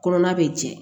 Kɔnɔna bɛ jɛ